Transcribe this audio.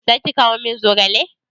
Zaki kawo min zogale?